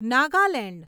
Nagaland